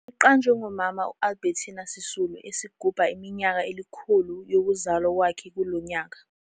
Liqanjwe ngoMama Albertina Sisulu esigubha iminyaka elikhulu yokuzalwa kwakhe kulo nyaka.